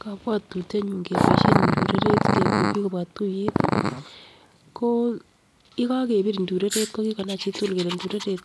Kobwotutye nyun keboishen indureret kekur bik kobwa tuyet ko yekokebir indureret ko kikonai chitukul kole ndureret